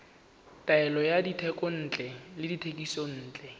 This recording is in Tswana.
taolo ya dithekontle le dithekisontle